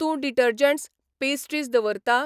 तूं detergents, pastries दवरता ?